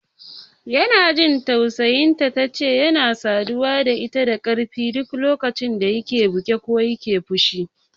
Ina jin tausayin ta, tace yana saduwa da ita da ƙarfi duk lokacin da yake buge ko yana fushi.